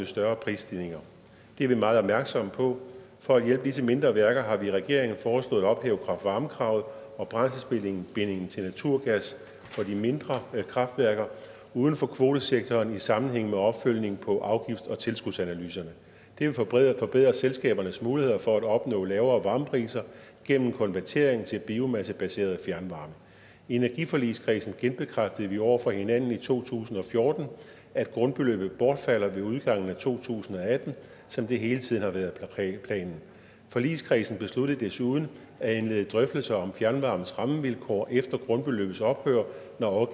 større prisstigninger det er vi meget opmærksomme på for at hjælpe disse mindre værker har vi i regeringen foreslået at ophæve kraft varme kravet og brændselsbindingen til naturgas for de mindre kraftværker uden for kvotesektoren i sammenhæng med opfølgning på afgifts og tilskudsanalyserne det vil forbedre forbedre selskabernes muligheder for at opnå lavere varmepriser gennem konvertering til biomassebaseret fjernvarme i energiforligskredsen genbekræftede vi over for hinanden i to tusind og fjorten at grundbeløbet bortfalder ved udgangen af to tusind og atten som det hele tiden har været planen forligskredsen besluttede desuden at indlede drøftelser af fjernvarmens rammevilkår efter grundbeløbets ophør når